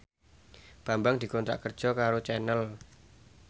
Bambang dikontrak kerja karo Channel